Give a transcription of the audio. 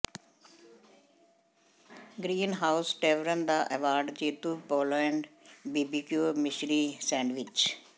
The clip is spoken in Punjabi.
ਗ੍ਰੀਨਹਾਉਸ ਟੇਵਰਨ ਦਾ ਐਵਾਰਡ ਜੇਤੂ ਪੋਲੇਡ ਬੀਬੀਿਕਊ ਮਿਸ਼ਰੀ ਸੈਂਡਵਿਚ